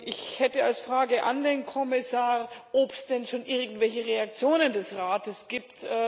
Ich hätte als Frage an den Kommissar, ob es denn schon irgendwelche Reaktionen des Rates gibt.